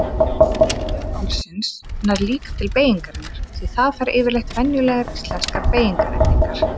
Aðlögun orðsins nær líka til beygingarinnar því það fær yfirleitt venjulegar íslenskar beygingarendingar.